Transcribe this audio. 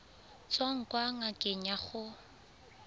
tswang kwa ngakeng ya gago